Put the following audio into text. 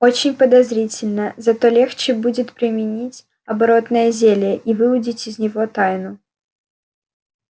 очень подозрительно зато легче будет применить оборотное зелье и выудить из него тайну